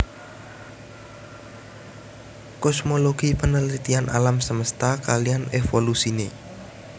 Kosmologi penelitian alam semesta kaliyan evolusine